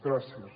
gràcies